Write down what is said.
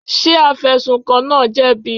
Ṣé afẹ̀sùnkàn náà jẹ̀bi?